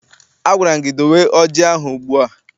Agwara m gị dowe ọjị ahụ ugbu a!